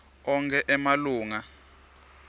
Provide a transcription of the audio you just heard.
onkhe emalunga